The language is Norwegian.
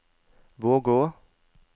Vågå